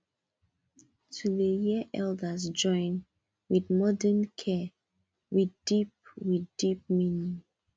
to dey hear elders join with modern care with deep with deep meaning